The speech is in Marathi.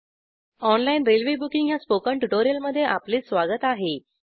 ऑनलाईन रेल्वे बुकिंग ह्या स्पोकन ट्युटोरियलमध्ये आपले स्वागत आहे